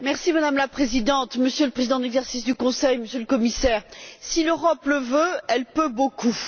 Madame la Présidente, Monsieur le Président en exercice du Conseil, Monsieur le Commissaire, si l'Europe le veut, elle peut beaucoup!